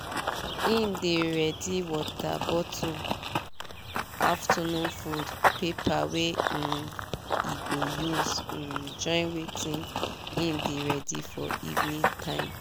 him dey ready water bottle afternoon food paper wey um e go use um join wetin him dey ready for evening time